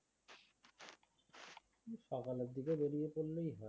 সকালের দিকেই বেরিয়ে পড়লেই হয়